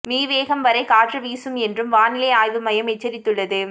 me வேகம் வரை காற்று வீசும் என்றும் வானிலை ஆய்வு மையம் எச்சரித்துள்ளது